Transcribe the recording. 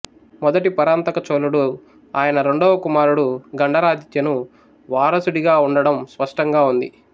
మొదటి పరాంతక చోళుడు ఆయన రెండవ కుమారుడు గండరాదిత్యను వారసుడిగా ఉండడం స్పష్టంగా ఉంది